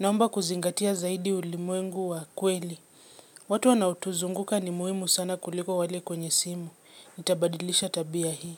Naomba kuzingatia zaidi ulimwengu wa kweli. Watu wanaotuzunguka ni muhimu sana kuliko wale kwenye simu. Nitabadilisha tabia hii.